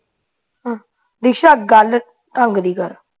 ਨਿਸ਼ਾ ਗੱਲ ਢੰਗ ਦੀ ਕਰ